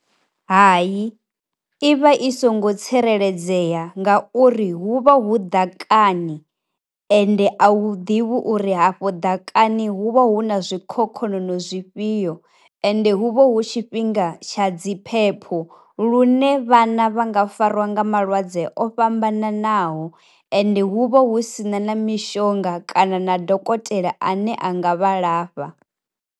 Hayi, i vha i songo tsireledzea nga uri hu vha hu ḓakani ende a wu ḓivhi uri afho ḓakani hu vha hu na zwi khokhonono zwifhio ende hu vha hu tshifhinga tsha dzi phepho lune vhana vha nga fariwa nga malwadze o fhambananaho, ende hu vha hu sina na mishonga kana na dokotela ane a nga vha lafha.